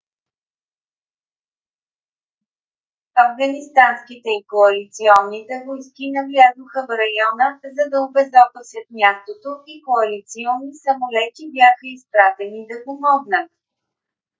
афганистанските и коалиционните войски навлязоха в района за да обезопасят мястото и коалиционни самолети бяха изпратени да помогнат